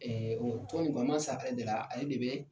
ale de la ale de bɛ